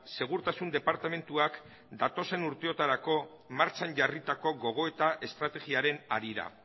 segurtasun departamenduak urteotarako martxan jarritako gogoeta estrategiaren harira